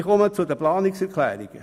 Ich komme zu den Planungserklärungen.